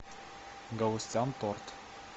галустян торт